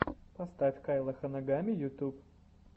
поставь кайла ханагами ютуб